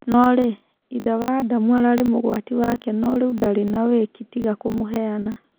No-rĩ, ithe wa Adamu ararĩ mũgwati wake no-rĩu ndarĩ na-wĩki tiga kũmũheana.